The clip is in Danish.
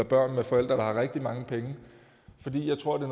børn med forældre der har rigtig mange penge for jeg tror det